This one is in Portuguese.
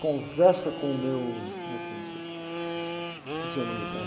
Conversa com o meu... Como é que é, não sei, não sei se era, esqueci o nome do cara.